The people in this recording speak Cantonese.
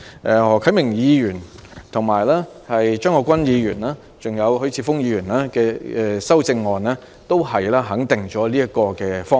何啟明議員、張國鈞議員及許智峯議員的修正案皆肯定了這個方向。